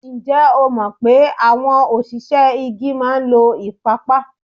Ǹjẹ́ ẹ mọ̀ pé àwọn òṣìṣẹ́ igi máa ń lo ìpapa?